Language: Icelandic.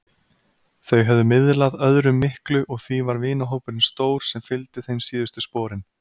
Þau höfðu miðlað öðrum miklu og því var vinahópurinn stór sem fylgdi þeim síðustu sporin.